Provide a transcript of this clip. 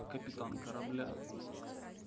капитан корабля